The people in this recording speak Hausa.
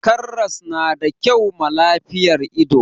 karras na da kyau ma lafiyan ido